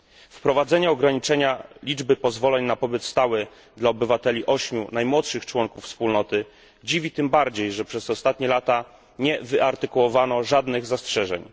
Wprowadzenie ograniczenia liczby pozwoleń na pobyt stały dla obywateli ośmiu najmłodszych członków Wspólnoty dziwi tym bardziej, że przez ostatnie lata nie wyartykułowano żadnych zastrzeżeń.